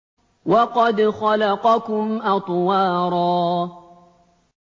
وَقَدْ خَلَقَكُمْ أَطْوَارًا